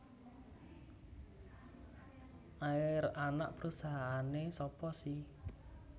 Air anak perusahaane sapa si